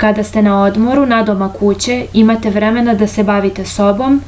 kada ste na odmoru nadomak kuće imate vremena da se bavite sobom